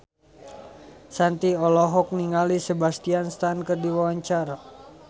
Shanti olohok ningali Sebastian Stan keur diwawancara